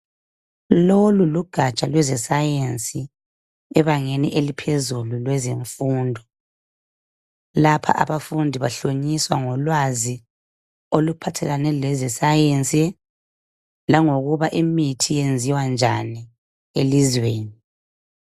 Lolu lugatsha lweze "Science" ebangeni eliphezulu lwezemfundo lapha abafundi bahloliswa ngolwazi oluphathelane leze "Science" langokuba imithi iyenziwa njani elizweni.